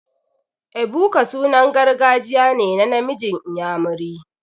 Ebuka sunan gargajiya ne na namiji inyamiri.